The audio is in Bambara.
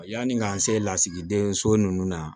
Yanni k'an se lasigiden so ninnu na